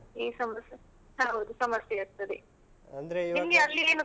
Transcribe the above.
ಈ ಸಮಸ್ಯೆ ಹೌದು ಸಮಸ್ಯೆ ಆಗ್ತದೆ. . ನಿಮ್ಗೆ ಅಲ್ಲಿ ಏನು.